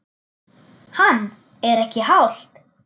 Hann: Er ekki hált?